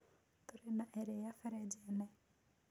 Tũrĩ na ĩrĩa frĩjĩĩnĩ.